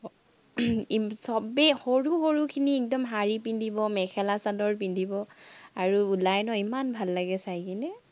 আহ চবেই সৰু সৰুখিনি একদম শাড়ী পিন্ধিব, মেখেলা-চাদৰ পিন্ধিব, আৰু ওলায় ন ইমান ভাল লাগে চাই কেনে